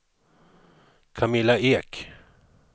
Camilla Ek